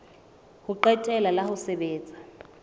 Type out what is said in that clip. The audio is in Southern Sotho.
ho qetela la ho sebetsa